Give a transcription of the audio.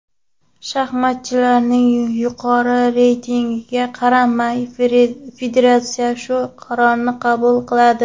Shaxmatchilarning yuqori reytingiga qaramay federatsiya shu qarorni qabul qiladi.